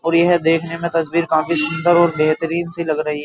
और यह देखने में तस्वीर काफी सुंदर और बेहतरीन सी लग रही है।